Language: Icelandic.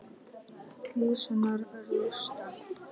Hús hennar rúst.